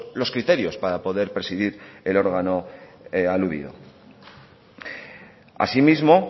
los criterios para poder presidir el órgano aludido asimismo